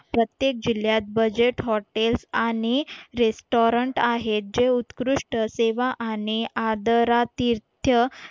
प्रत्येक जिल्ह्यात budget hotels आणि रेस्टॉरंट आहेत जे उत्कृष्ट सेवा आणि आदरा तीर्थ